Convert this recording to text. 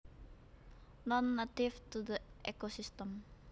Non native to the ecosystem